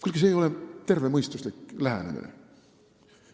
Kuulge, see ei ole tervemõistuslik lähenemine!